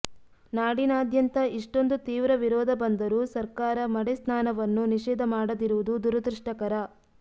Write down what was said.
ನಾಡಿನಾದ್ಯಂತ ಇಷ್ಟೊಂದು ತೀವ್ರ ವಿರೋಧ ಬಂದರೂ ಸಕರ್ಾರ ಮಡೆಸ್ನಾನವನ್ನು ನಿಷೇಧ ಮಾಡದಿರುವುದು ದುರದೃಷ್ಟಕರ